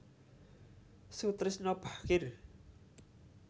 Soetrisno Bachir